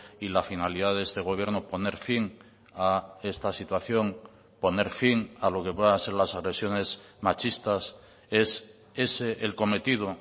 y la finalidad de este gobierno poner fin a esta situación poner fin a lo que pueda ser las agresiones machistas es ese el cometido